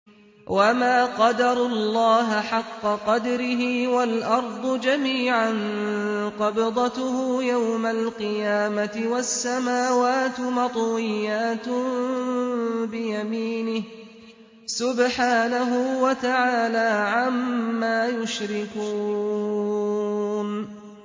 وَمَا قَدَرُوا اللَّهَ حَقَّ قَدْرِهِ وَالْأَرْضُ جَمِيعًا قَبْضَتُهُ يَوْمَ الْقِيَامَةِ وَالسَّمَاوَاتُ مَطْوِيَّاتٌ بِيَمِينِهِ ۚ سُبْحَانَهُ وَتَعَالَىٰ عَمَّا يُشْرِكُونَ